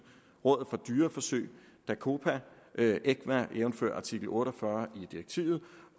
rådet for dyreforsøg dacopa ecvam jævnfør artikel otte og fyrre i direktivet